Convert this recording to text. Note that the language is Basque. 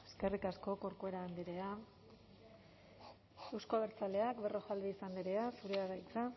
eskerrik asko corcuera andrea euzko abertzaleak berrojalbiz andrea zurea da hitza